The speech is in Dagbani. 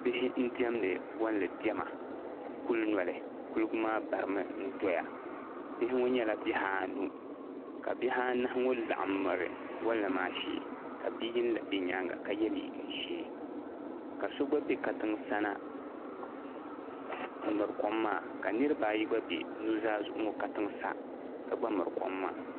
Bihi n diɛmdi bolli diɛma kuli noli kuliga maa barimi n doya bihi ŋɔ nyɛla bihi anu ka bihi anahi be bolli maa shee ka bia yini na be nyaanga ka ye liiga ʒee ka so gba be katiŋ sana m miri kom maa niriba ayi gba be nuzaa zuɣu katiŋ sa ka gba miri kom maa.